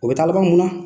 O bɛ taa laban mun na